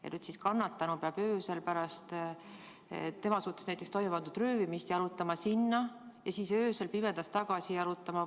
Ja nüüd siis kannatanu peab öösel näiteks pärast tema suhtes toime pandud röövimist sinna jalutama ja öösel pimedas tagasi jalutama?